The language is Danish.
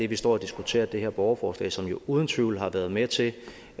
vi står og diskuterer det her borgerforslag som jo uden tvivl har været med til